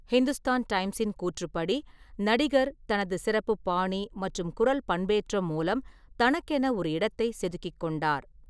ஹிந்துஸ்தான் டைம்ஸின் கூற்றுப்படி, "நடிகர் தனது சிறப்பு பாணி மற்றும் குரல் பண்பேற்றம் மூலம் தனக்கென ஒரு இடத்தை செதுக்கிக் கொண்டார்."